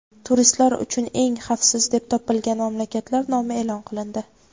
Turistlar uchun eng xavfsiz deb topilgan mamlakatlar nomi e’lon qilindi.